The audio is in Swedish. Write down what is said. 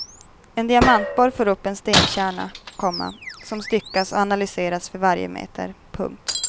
En diamantborr får upp en stenkärna, komma som styckas och analyseras för varje meter. punkt